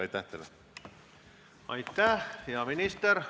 Aitäh, peaminister!